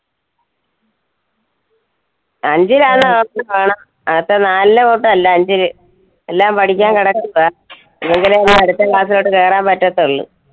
അഞ്ചിൽ ആണെന്ന് ഓർത്തോളണം. നേരത്തെ നാലിലെ കൂട്ട് അല്ല അഞ്ചില് എല്ലാം പഠിക്കാൻ കിടക്കുവാ. അടുത്ത class ലോട്ട് കേറാൻ പറ്റത്തൊള്ളൂ.